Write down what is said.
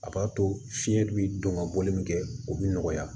A b'a to fiɲɛ dun bi don ka bɔli min kɛ o bɛ nɔgɔya